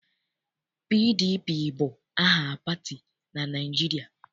PDP bụ aha pati na Naịjirịa.